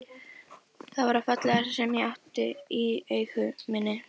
Það var það fallegasta sem ég átti í eigu minni.